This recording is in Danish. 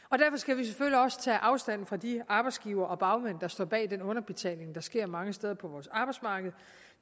og også tage afstand fra de arbejdsgivere og bagmænd der står bag den underbetaling der sker mange steder på vores arbejdsmarked